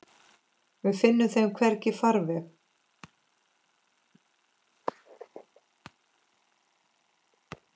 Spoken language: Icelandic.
Við finnum þeim hvergi farveg.